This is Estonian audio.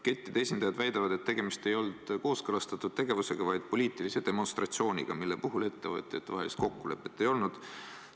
Kettide esindajad väidavad, et tegemist ei olnud kooskõlastatud tegevusega, vaid poliitilise demonstratsiooniga, mille puhul ettevõtjatevahelist kokkulepet ei olnud.